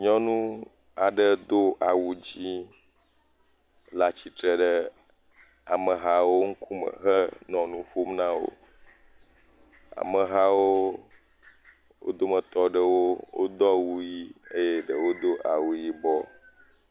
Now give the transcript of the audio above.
Nyɔnu aɖe do awu dzẽ le atsitre ɖe amehawo ŋkume henɔ nu ƒom na wo. Amehawo, wo dometɔ aɖewo wodo awu ʋii eye ɖewo do awu yibɔ.